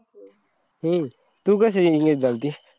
हम्म तू कशी engeage झालती?